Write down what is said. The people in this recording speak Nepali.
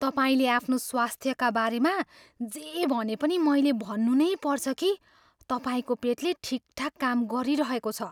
तपाईँले आफ्नो स्वास्थ्यका बारेमा जे भने पनि मैले भन्नु नै पर्छ कि तपाईँको पेटले ठिकठाक काम गरिरहेको छ।